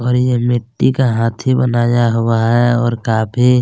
और ये मिट्टी का हाथी बनाया हुआ है और काफी--